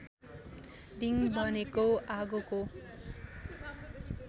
दिङ भनेको आगोको